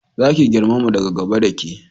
Za ki girmama da gaba da ke